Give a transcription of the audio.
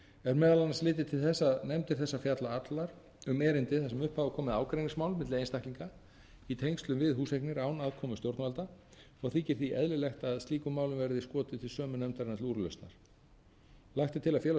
er meðal annars litið til þess að nefndir þessar fjalla allar um erindi þar sem upp hafa komið ágreiningsmál milli einstaklinga í tengslum við húseignir án aðkomu stjórnvalda og þykir því eðlilegt að slíkum málum verði skotið til sömu nefndarinnar til úrlausnar lagt er til að félags